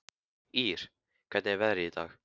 Ýr, hvernig er veðrið í dag?